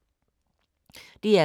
DR K